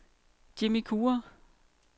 Jimmi Kure